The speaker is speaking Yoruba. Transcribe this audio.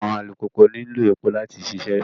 Awọn alupupu nilo epo lati ṣiṣẹ